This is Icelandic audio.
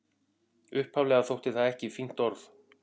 Upphaflega þótti það ekki fínt orð.